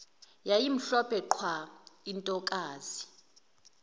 yayimhlophe qwa intokazi